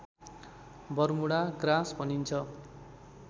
Bermuda grass भनिन्छ